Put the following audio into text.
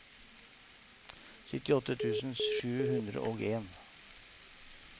syttiåtte tusen sju hundre og en